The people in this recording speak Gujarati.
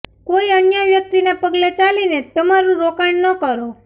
કોઈ અન્ય વ્યક્તિના પગલે ચાલીને તમારું રોકાણ ન કરો